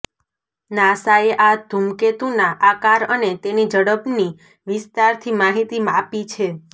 નાસાએ આ ધૂમકેતુના આકાર અને તેની ઝડપની વિસ્તારથી માહિતી આપી છે